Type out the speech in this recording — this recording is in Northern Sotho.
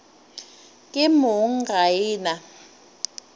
ke mong ga e na